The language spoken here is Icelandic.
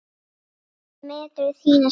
Hvernig meturðu þína stöðu?